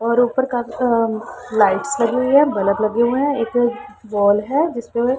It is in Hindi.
और ऊपर काफी अह लाइटस लगी हुई है बल्ब लगे हुए हैं एक बॉल है जिसपे--